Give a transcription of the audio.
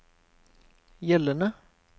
gjeldende